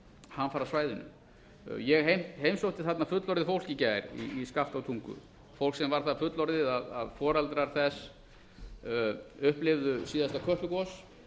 hamfarasvæðinu ég heimsótti þarna fullorðið fólk í gær í skaftártungu fólk sem var það fullorðið að foreldrar þess upplifðu síðasta kötlugos